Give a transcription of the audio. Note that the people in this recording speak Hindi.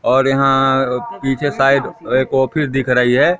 और यहां अ पीछे साइड एक ऑफिस दिख रही है।